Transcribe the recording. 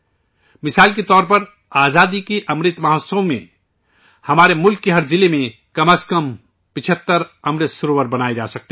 جیسے آزادی کے امرت مہوتسو میں ہمارے ملک کے ہر ضلع میں کم از کم 75 امرت سروور بنائے جا سکتے ہیں